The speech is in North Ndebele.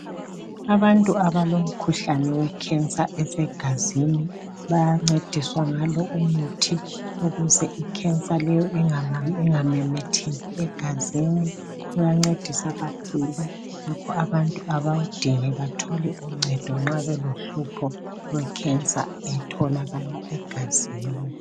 Abantu ablomkhuhlane wekhensa esegazini, bayancediswa ngalo umuthi ukuze ikhensa leyo ingamemetheki egazini. Uyancedisa kakhulu. Ngakho abantu abawudinge bathole uncedo nxa belohlupho lwekhensa etholakala egazini.